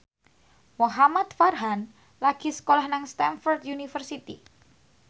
Muhamad Farhan lagi sekolah nang Stamford University